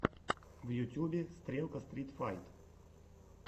в ютьюбе стрелка стрит файт